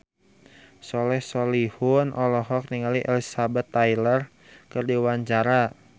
Soleh Solihun olohok ningali Elizabeth Taylor keur diwawancara